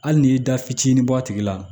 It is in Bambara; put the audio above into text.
Hali n'i y'i da fitinin bɔ a tigi la